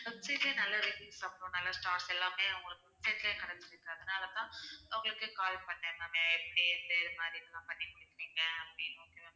website லயும் நல்ல reviews தான் ma'am நல்ல stars எல்லாமே உங்களுக்கு அதனால தான் உங்களுக்கே call பண்ணேன் ma'am எப்படி எந்த இது மாதிரியெல்லாம் பண்ணிட்டுருக்கீங்க அப்படின்னு